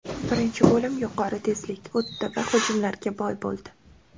Birinchi bo‘lim yuqori tezlik o‘tdi va hujumlarga boy bo‘ldi.